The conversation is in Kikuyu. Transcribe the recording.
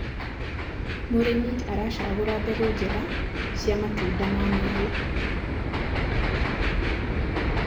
mũrĩmi aracagura mbegũ njega cia matunda ma maĩ